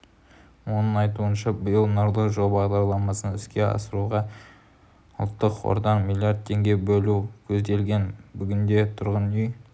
оның айтуынша биыл нұрлы жол бағдарламасын іске асыруға ұлттық қордан млрд теңге бөлу көзделген бүгінде тұрғын-үй